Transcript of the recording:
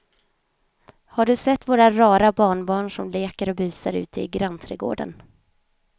Har du sett våra rara barnbarn som leker och busar ute i grannträdgården!